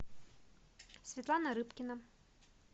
светлана рыбкина